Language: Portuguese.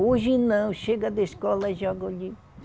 Hoje não, chega da escola e joga ali.